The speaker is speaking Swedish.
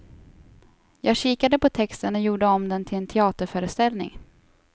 Jag kikade på texten och gjorde om den till en teaterföreställning.